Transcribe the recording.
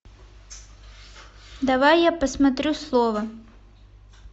давай я посмотрю слово